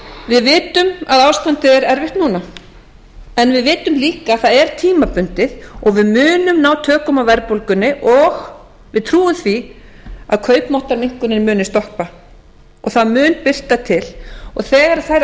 við vitum að ástandið er erfitt núna en við vitum líka að það er tímabundið og við munum ná tökum á verðbólgunni og við trúum því að kaupmáttarminnkunin guðni stoppa og það muni birta til og þegar